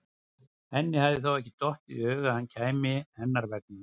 Henni hefur þó ekki dottið í hug að hann kæmi hennar vegna?